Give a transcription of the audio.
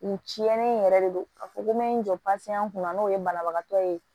Nin tiɲɛnen in yɛrɛ de don a fɔ ko n bɛ n jɔ kunna n'o ye banabagatɔ ye